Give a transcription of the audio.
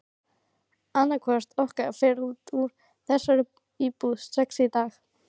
Annaðhvort okkar fer út úr þessari íbúð strax í dag!